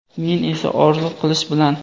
men esa orzu qilish bilan.